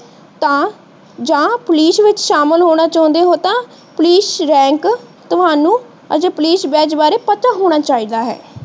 ਤਾਂ ਜਾਂ ਪੁਲਿਸ ਵਿੱਚ ਸ਼ਾਮਿਲ ਹੋਣਾ ਚਾਉਂਦੇ ਹੋ ਤਾਂ ਪੁਲਿਸ ਤੁਹਾਨੂੰ ਅਤੇ ਪੁਲਿਸ ਬੈਚ ਬਾਰੇ ਪਤਾ ਹੋਣਾ ਚਾਹਿਦਾ ਹੈ।